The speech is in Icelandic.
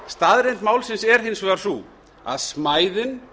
staðreynd málsins er hins vegar sú að smæðin